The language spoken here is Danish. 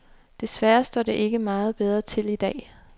Desværre står det ikke meget bedre til i dag.